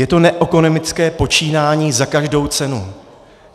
Je to neekonomické počínání za každou cenu.